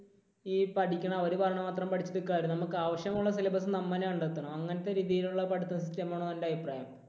ഈ പഠിക്കുന്ന, അവര് പറയുന്നത് മാത്രം പഠിക്കാതെ നമുക്ക് ആവശ്യമുള്ള syllabus നമ്മൾ തന്നെ കണ്ടെത്തണം. അങ്ങനെ ഒരു രീതിയിലുള്ള പഠിത്തം system വേണമെന്നാണ് എന്റെ അഭിപ്രായം.